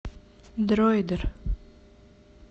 дроидер